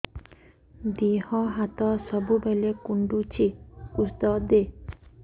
ଦିହ ହାତ ସବୁବେଳେ କୁଣ୍ଡୁଚି ଉଷ୍ଧ ଦେ